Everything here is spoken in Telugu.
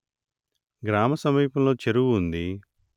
గ్రామసమీపంలో చెరువు ఉంది